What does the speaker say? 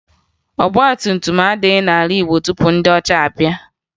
Ọgbatumtum adịghị n'ala Igbo tupu ndị ọcha abịa